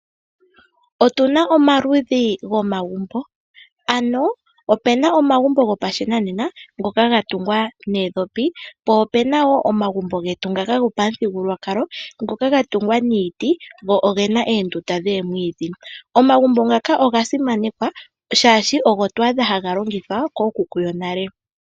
Otuna omaludhi gomagumbo, ano opena omagumbo go pashinanena ngoka ga tungwa noondhopi. Po opena wo omagumbo getu ngaka go pamuthigululwakalo, ngoka ga tungwa tungwa niiti go ogena oondunda dhoomwiidhi. Omagumbo ngaka oga simanekwa shaashi ogo twa adha haga longithwa kooKuku yonale.